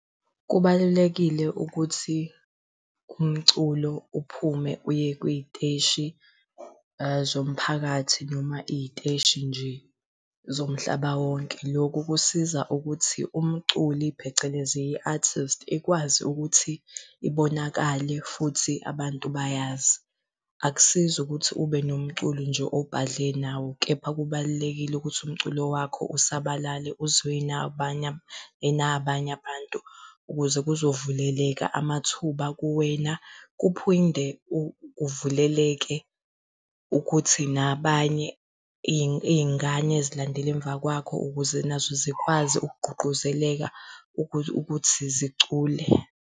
Kubalulekile ukuthi kumculo uphume uye kwiy'teshi, zomphakathi noma iy'teshi nje zomhlaba wonke. Lokhu kusiza ukuthi umculi, phecelezi i-artist ikwazi ukuthi ibonakale futhi abantu bayazi. Akusizi ukuthi ube nomculi nje obhadle nawo, kepha kubalulekile ukuthi umculo wakho usabalale uzwiwe yina abanye abanye abantu ukuze kuzovuleka amathuba kuwena. Kuphinde kuvuleleke ukuthi nabanye, iy'ngane ezilandela emva kwakho ukuze nazo zikwazi ukugqugquzeleka ukuthi zicule.